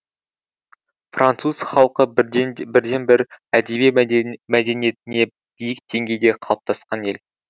француз халқы бірден бір әдеби мәдениеті биік деңгейде қалыптасқан ел